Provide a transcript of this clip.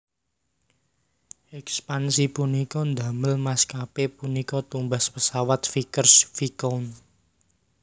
Ekspansi punika ndamel maskapé punika tumbas pesawat Vickers Viscount